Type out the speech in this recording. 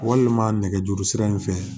Walima nɛgɛjuru sira in fɛ